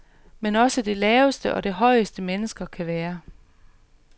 Men også det laveste og det højeste, mennesker kan være.